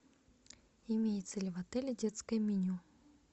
имеется ли в отеле детское меню